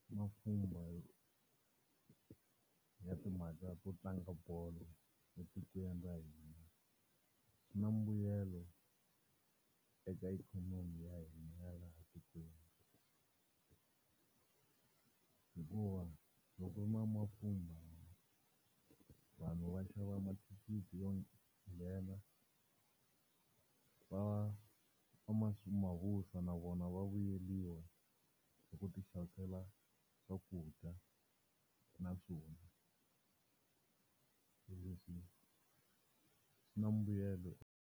Mapfhumba yo ya timhaka to tlanga bolo etikweni ra hina. Swi na mbuyelo eka ikhonomi ya hina ya laha tikweni, hikuva loko ku ri na mapfhumba, vanhu va xava mathikithi yo nghena va na vona va vuyeriwa hi ku ti xavisela swakudya na swo nwa. Hi leswi swi na mbuyelo.